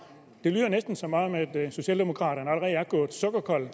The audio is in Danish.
det lyder næsten som om socialdemokraterne allerede er gået sukkerkolde